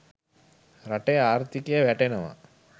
රටේ ආර්ථිකය වැටෙනවා.